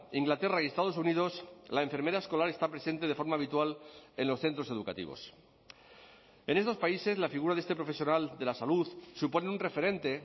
inglaterra y estados unidos la enfermera escolar está presente de forma habitual en los centros educativos en estos países la figura de este profesional de la salud supone un referente